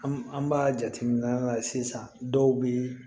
An an b'a jateminɛ sisan dɔw bi